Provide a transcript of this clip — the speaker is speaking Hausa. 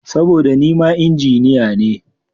Saboda nima Injiniya ne.